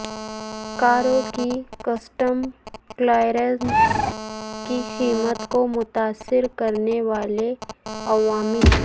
کاروں کی custom clearance کی قیمت کو متاثر کرنے والے عوامل